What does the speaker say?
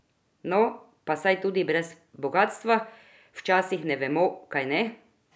No, pa saj tudi brez bogastva včasih ne vemo, kajne?